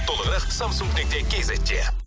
толығырақ самсунг нүкте кейзетте